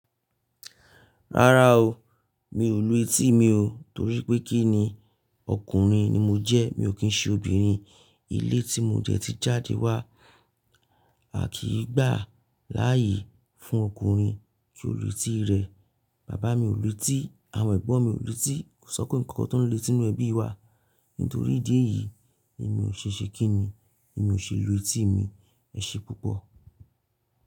Rárá o, mi ò lu etí mi o torí pé kí ni? Ọkùnrin ni mo jẹ́, mi ò kí ń ṣe obìnrin. Ilé tí mo dẹ ti jáde wá, a kì í gbà láàyè fún ọkùnrin ju lu etí rẹ̀. Bàbá mi ò lu etí, àwọn ẹ̀gbọ́n mi ò lu etí, kò si ọ́kunrin kokan tó ń lu eti nu ẹbí wa. Nítorí ìdí èyí, èmi ò ṣẹ̀ṣẹ̀ kí ni? Èmi ò ṣe lu etí mi. Ẹ ṣe púpọ̀.